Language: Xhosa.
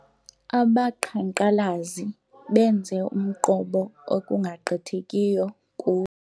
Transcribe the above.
Abaqhankqalazi benze umqobo ekungagqithekiyo kuwo.